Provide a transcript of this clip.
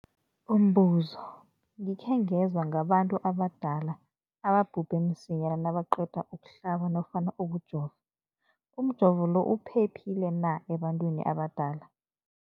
Umbuzo, gikhe ngezwa ngabantu abadala ababhubhe msinyana nabaqeda ukuhlaba nofana ukujova. Umjovo lo uphephile na ebantwini abadala?